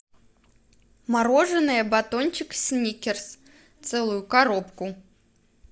мороженое батончик сникерс целую коробку